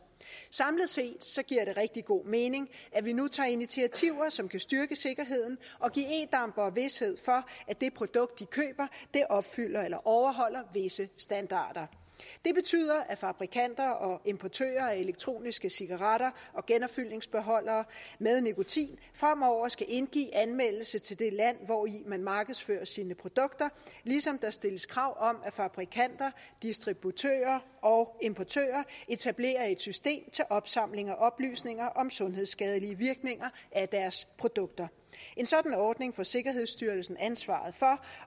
samlet set giver det rigtig god mening at vi nu tager initiativer som kan styrke sikkerheden og give e dampere vished for at det produkt de køber opfylder eller overholder visse standarder det betyder at fabrikanter og importører af elektroniske cigaretter og genopfyldningsbeholdere med nikotin fremover skal indgive anmeldelse til det land hvori man markedsfører sine produkter ligesom der stilles krav om at fabrikanter distributører og importører etablerer et system til opsamling af oplysninger om sundhedsskadelige virkninger af deres produkter en sådan ordning får sikkerhedsstyrelsen ansvaret for